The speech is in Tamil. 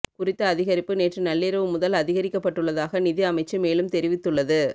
குறித்த அதிகரிப்பு நேற்று நள்ளிரவு முதல் அதிகரிக்கப்பட்டுள்ளதாக நிதி அமைச்சு மேலும் தெரிவித்துள்ளது